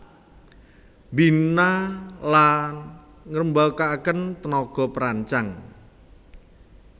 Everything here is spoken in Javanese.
Mbina la ngrembakakaken tenaga perancang